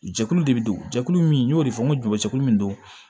Jɛkulu de bɛ don jɛkulu min n y'o de fɔ n ko jojɛkulu min don